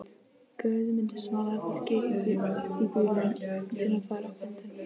Guðmundur smalaði fólki í bílinn til að fara á fundinn.